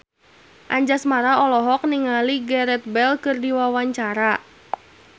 Anjasmara olohok ningali Gareth Bale keur diwawancara